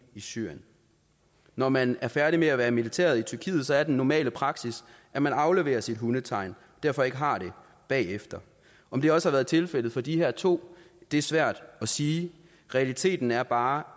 i syrien når man er færdig med at være i militæret i tyrkiet er den normale praksis at man afleverer sit hundetegn og derfor ikke har det bagefter om det også har været tilfældet for de her to er svært at sige realiteten er bare